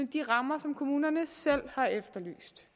de rammer som kommunerne selv har efterlyst